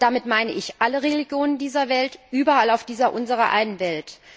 Damit meine ich alle Religionen dieser Welt überall auf dieser unserer einen Welt.